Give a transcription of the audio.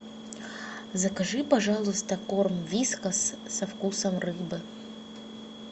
закажи пожалуйста корм вискас со вкусом рыбы